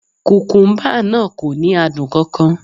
Kùkúmbà náà kò ní adùn kan kan